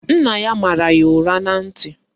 Nna ya mara ya ụra na ntị